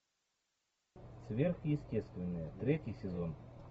сверхъестественное третий сезон